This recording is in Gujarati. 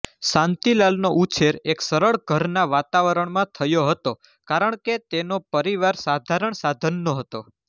શાંતિલાલનો ઉછેર એક સરળ ઘરના વાતાવરણમાં થયો હતો કારણ કે તેનો પરિવાર સાધારણ સાધનનો હતો